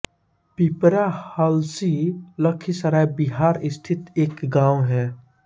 पिपरा हलसी लखीसराय बिहार स्थित एक गाँव है